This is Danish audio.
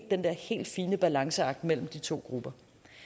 den der helt fine balanceakt mellem de to grupper